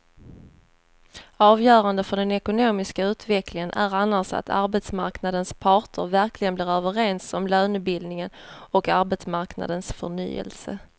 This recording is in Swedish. Avgörande för den ekonomiska utvecklingen är annars att arbetsmarknadens parter verkligen blir överens om lönebildningen och arbetsmarknadens förnyelse.